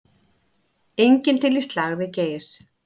Enginn til í slaginn við Geir